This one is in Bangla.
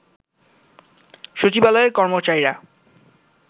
সচিবালয়ের কর্মচারীরা